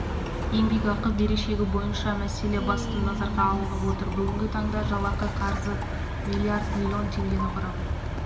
еңбекақы берешегі бойынша мәселе басты назарға алынып отыр бүгінгі таңда жалақы қарызы миллиард миллион теңгені құрап